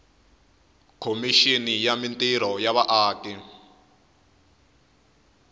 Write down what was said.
khomixini ya mintirho ya vaaki